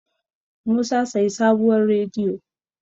musa sayi sabuwar rediyo